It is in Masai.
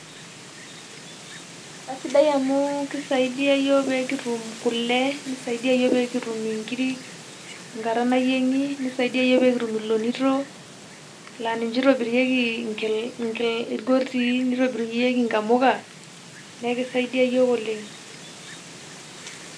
Kasidai amu kisaidia yiook pekitum kule, nisaidia yiook pekitum inkiri tenkata nayieng'i, nisaidia yiook pekitum ilonito, nalinche itobirieki irgotii, nitobirunyieki inkamuka, neeku kisaidia yiook oleng'.